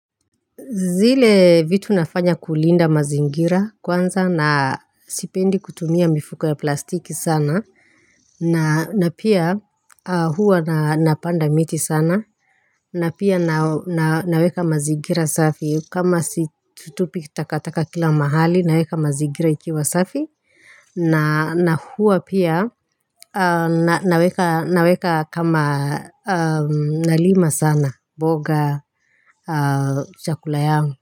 Zile vitu nafanya kulinda mazingira kwanza na sipendi kutumia mifuko ya plastiki sana na na pia huwa napanda miti sana na pia naweka mazingira safi kama situpi takataka kila mahali naweka mazingira ikiwa safi na huwa pia naweka kama nalima sana mboga chakula yangu.